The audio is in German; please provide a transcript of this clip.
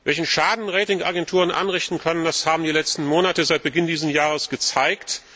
Welchen Schaden Ratingagenturen anrichten können, das haben die letzten Monate seit Beginn dieses Jahres gezeigt.